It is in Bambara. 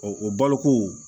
o baloko